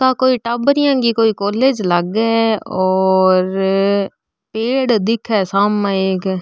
आ कोई टाबरिया की कोई कॉलेज लागे और पेड़ दिखे सामे एक --